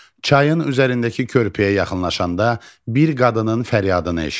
Çayın üzərindəki körpüyə yaxınlaşanda bir qadının fəryadını eşitdi.